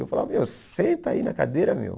Eu falava, meu, senta aí na cadeira, meu.